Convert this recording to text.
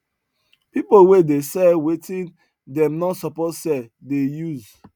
pple wey dey sell wetin dem no suppose sell dey use